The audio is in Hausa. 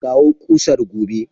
Kawo kusar gobe!